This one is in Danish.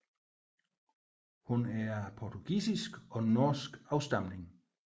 Hun er af portugisisk og norsk afstamning